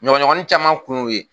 Ɲɔgɔnɲɔgɔnnin caman kun y'o ye